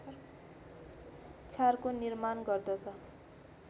क्षारको निर्माण गर्दछ